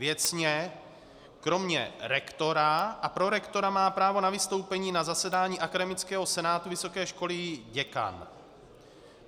Věcně kromě rektora a prorektora má právo na vystoupení na zasedání akademického senátu vysoké školy i děkan.